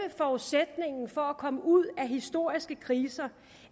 forudsætningen for at komme ud af historiske kriser